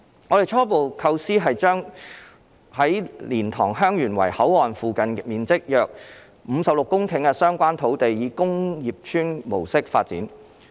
我們的初步構思是將在蓮塘/香園圍口岸附近面積約56公頃的相關土地以工業邨模式發展。